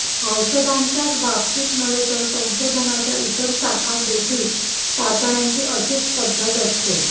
औषधांच्याच बाबतीत नव्हे तर संशोधनाच्या इतर शाखांत देखील चाचण्यांची अशीच पद्धत असते